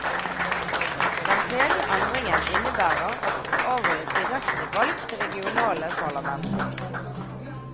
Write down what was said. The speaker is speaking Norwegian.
Den tredje endringen innebærer at det skal avholdes direkte valg til regionale parlamenter.